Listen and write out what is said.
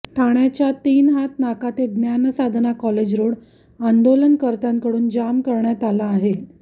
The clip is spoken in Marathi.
ठाण्याच्या तीन हात नाका ते ज्ञानसाधना कॉलेज रोड आंदोलनकर्त्यांकडून जाम करण्यात आला आहे